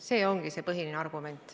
See ongi põhiline argument.